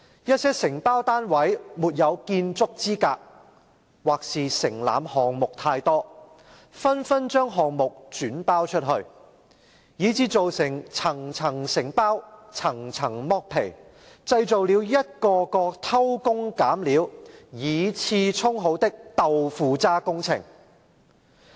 一些承包單位沒有建築資格，或是承攬項目太多，紛紛將項目轉包出去，以致造成層層承包、層層剝皮，製造了一個個偷工減料、以次充好的'豆腐渣'工程！